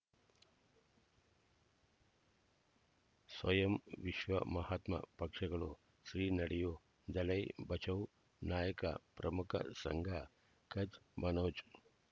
ಸ್ವಯಂ ವಿಶ್ವ ಮಹಾತ್ಮ ಪಕ್ಷಗಳು ಶ್ರೀ ನಡೆಯೂ ದಲೈ ಬಚೌ ನಾಯಕ ಪ್ರಮುಖ ಸಂಘ ಕಚ್ ಮನೋಜ್